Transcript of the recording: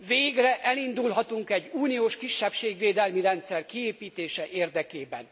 Végre elindulhatunk egy uniós kisebbségvédelmi rendszer kiépítése érdekében.